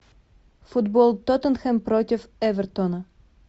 футбол тоттенхэм против эвертона